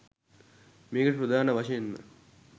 මේකට ප්‍රධාන වශයෙන්ම